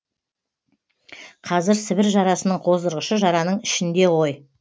қазір сібір жарасының қоздырғышы жараның ішінде ғой